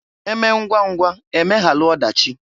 Emee ngwa ngwa emeghalụ ọdachị.